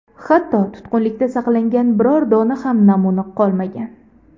Hatto tutqunlikda saqlangan biror dona ham namuna qolmagan.